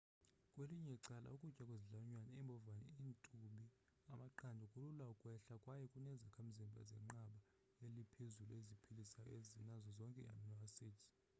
kwelinye icala ukutya kwezilwanyane iimbhovane iintubi amaqanda kulula ukwehla kwaye kuneezakhamzimbha zenqanaba eliphezulu eziphilisayo ezinazo zonke ii-amino acids